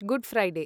good Friday